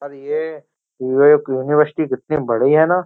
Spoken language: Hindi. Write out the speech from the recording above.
ये यूनिवर्सिटी कितनी बड़ी है ना।